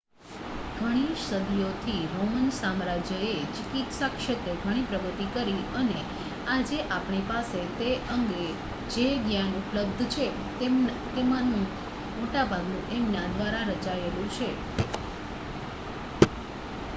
ઘણી સદીઓથી રોમન સામ્રાજ્યએ ચિકિત્સા ક્ષેત્રે ઘણી પ્રગતિ કરી અને આજે આપણી પાસે તે અંગે જે જ્ઞાન ઉપલબ્ધ છે તેમાંનું મોટાભાગનું એમના દ્વારા રચાયેલું છે